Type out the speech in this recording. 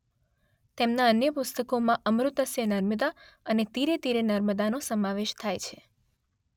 તેમના અન્ય પુસ્તકોમાં અમૃતસ્ય નર્મદા અને તીરે તીરે નર્મદાનો સમાવેશ થાય છે.